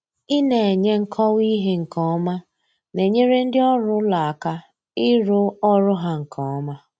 ina enye nkọwa ihe nke ọma na-enyere ndị ọrụ ụlọ aka ịrụ ọrụ ha nke ọma.